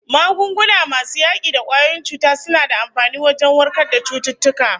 Magunguna masu yaki da kwayoyin cuta suna da amfani wajen warkar da cututtuka